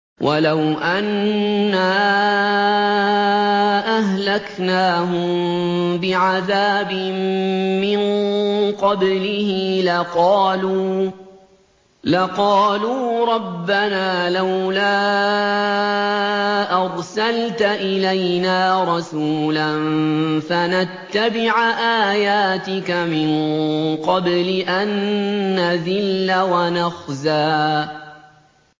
وَلَوْ أَنَّا أَهْلَكْنَاهُم بِعَذَابٍ مِّن قَبْلِهِ لَقَالُوا رَبَّنَا لَوْلَا أَرْسَلْتَ إِلَيْنَا رَسُولًا فَنَتَّبِعَ آيَاتِكَ مِن قَبْلِ أَن نَّذِلَّ وَنَخْزَىٰ